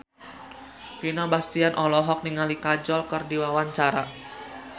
Vino Bastian olohok ningali Kajol keur diwawancara